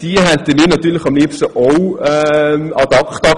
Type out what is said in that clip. Wir hätten diese am liebsten ad acta gelegt.